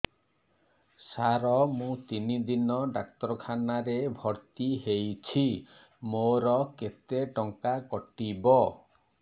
ସାର ମୁ ତିନି ଦିନ ଡାକ୍ତରଖାନା ରେ ଭର୍ତି ହେଇଛି ମୋର କେତେ ଟଙ୍କା କଟିବ